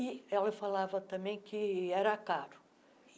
E ela falava também que era caro.